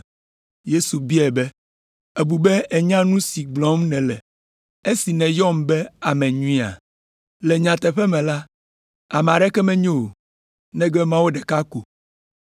Yesu biae be, “Ebu be ènya nu si gblɔm nèle esi nèyɔm be ame nyuia? Le nyateƒe me la, ame aɖeke menyo o, negbe Mawu ɖeka ko.